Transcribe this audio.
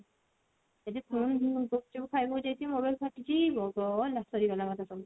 ଯଦି ପୁଣି ମୁ ଗୁପଚୁପ୍ ଖାଇବ ଯଦି ମୋର ସରିଯିବ ଗଲା ସରିଗଲା ସବୁ